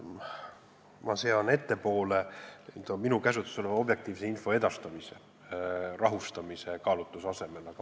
Ma sean ettepoole minu käsutuses oleva objektiivse info edastamise rahustamise kaalutluse asemel.